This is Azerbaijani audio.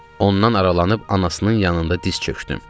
Ondan aralanıb anasının yanında diz çökdüm.